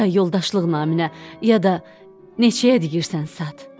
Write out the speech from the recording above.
Ya yoldaşlıq naminə, ya da neçəyə deyirsən sat.